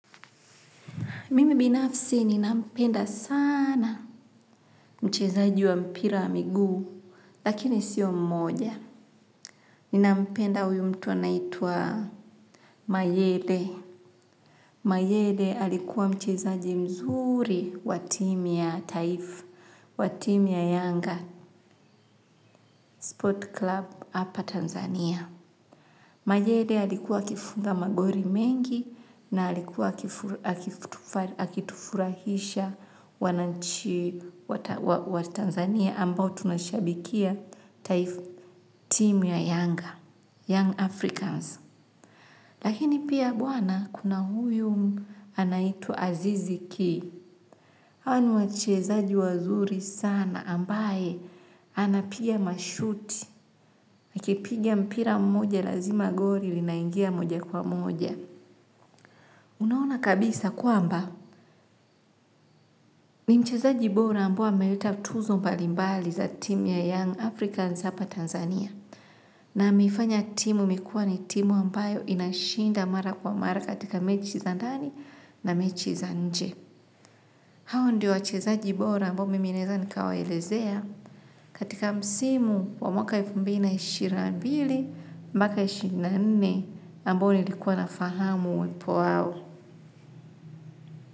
Mimi binafsi ninampenda sana mchezaji wa mpira wa miguu, lakini sio mmoja. Ninampenda huyu mtu anaitwa Mayede. Mayede alikuwa mchezaji mzuri wa timu ya taifa, wa timu ya Yanga, Sport Club hapa Tanzania. Mayede alikuwa akifunga magori mengi na alikuwa akitufurahisha wananchi wa Tanzania ambao tunashabikia timu Yanga youngAfricans. Lakini pia bwana kuna huyu anaitwa Azizi Ki. Hawa ni wachezaji wazuri sana ambaye anapiga mashuti, akipiga mpira mmoja lazima gori linaingia mmoja kwa mmoja. Unaona kabisa kwamba ni mchezaji bora ambaye ameleta tuzo mbalimbali za timu ya young Africans hapa Tanzania. Na ameifanya timu imekuwa ni timu ambayo inashinda mara kwa mara katika mechi za ndani na mechi za nje. Hawa ndo wachezaji bora ambao mimi naweza nikawaelezea katika msimu wa mwaka elfu mbili na ishirini na mbili ishirini na mbili mbaka ishirini na nne ishirini na nne ambao nilikuwa nafahamu uwepo wau.